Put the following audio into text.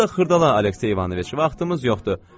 Onda xırdala Alekseyəviç, vaxtımız yoxdur.